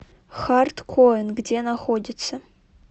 хард коин где находится